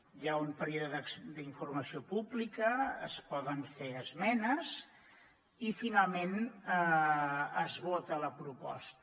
hi ha un període d’informació pública es poden fer esmenes i finalment es vota la proposta